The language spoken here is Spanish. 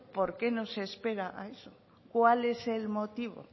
por qué no se espera a eso cuál es el motivo